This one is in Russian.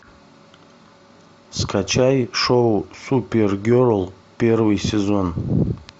скачай шоу супергерл первый сезон